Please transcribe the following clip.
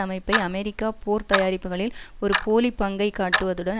அமைப்பை அமெரிக்க போர் தயாரிப்புக்களில் ஒரு போலி பங்கை காட்டுவதுடன்